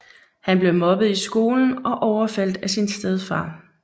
Han blev mobbet i skolen og overfaldet af sin stedfar